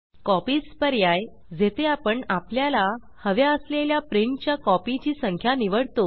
copies copies पर्याय जेथे आपण आपल्यला हव्या असलेल्या प्रिंट च्या कॉपी ची संख्या निवडतो